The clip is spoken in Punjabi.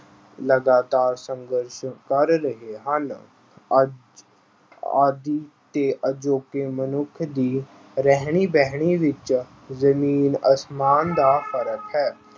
ਲਗਾਤਾਰ ਸੰਘਰਸ਼ ਕਰ ਰਹੇ ਹਨ। ਅੱਜ ਆਦਿ ਤੇ ਅਜੋਕੇ ਮਨੁੱਖ ਦੀ ਰਹਿਣੀ ਬਹਿਣੀ ਵਿੱਚ ਜ਼ਮੀਨ ਅਸਮਾਨ ਦਾ ਫ਼ਰਕ ਹੈ।